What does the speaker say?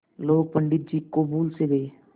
लोग पंडित जी को भूल सा गये